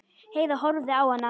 Heiða horfði á hana.